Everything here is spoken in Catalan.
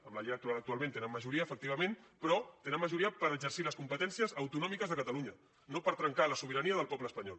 amb la llei electoral actualment tenen majoria efectivament però tenen majoria per exercir les competències autonòmiques de catalunya no per trencar la sobirania del poble espanyol